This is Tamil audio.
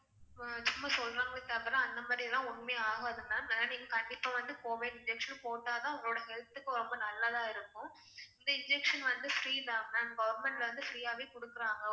சும்மா சொல்றாங்களே தவிர அந்த மாதிரிலாம் ஒண்ணுமே ஆகாது ma'am. ஏன்னா நீங்க கண்டிப்பா வந்து covid injection போட்டா தான் உங்களோட health க்கு ரொம்ப நல்லதா இருக்கும். இந்த injection வந்து free தான் ma'am government ல இருந்து free ஆவே குடுக்கிறாங்க.